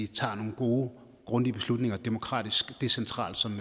tager nogle gode grundige beslutninger demokratisk og decentralt som